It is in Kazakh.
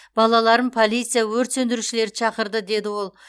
балаларым полиция өрт сөндірушілерді шақырды деді ол